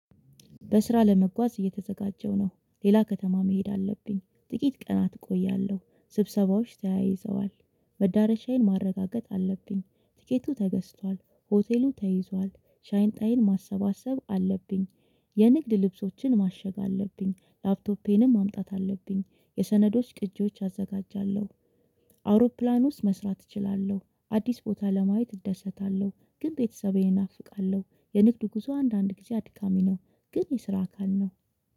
በስራ ለመጓዝ እየተዘጋጀው ነው ሌላ ከተማ መሄድ አለብኝ ጥቂት ቀናት እቆያለሁ ስብሰባዎች ተያይዘዋል መዳረሻዬን ማረጋገጥ አለብኝ ቲኬቱ ተገዝቷል ሆቴሉ ተይዟል ሻይንጣይን ማሰባሰብ አለብኝ። የንግድ ልብሶችን ማሸግ አለብኝ ላፕቶፔንም ማምጣት አለብኝ የሰነዶች ቅጂዎች አዘጋጃለሁ። አውሮፕላን ውስጥ መስራት እችላለሁ አዲስ ቦታ ለማየት እደሰታለሁ። ግን ቤተሰቤን እናፍቃለሁ የንግዱ ጉዞ አንዳንድ ጊዜ አድካሚ ነው። ግን የስራ አካል ነው።